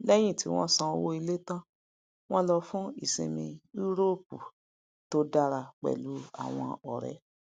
lèyìn ti won san owó ilé tán wọn lọ fún ìsinmi euroopu to dára pẹlú àwọn ọrẹ